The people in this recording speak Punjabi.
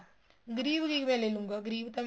ਗਰੀਬ ਕਿਵੇਂ ਲੈਲੂਗਾ ਗਰੀਬ ਤਾਂ